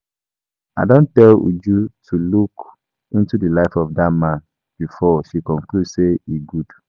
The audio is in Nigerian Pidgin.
I don tell Uju to look into the life of dat man before she conclude say he good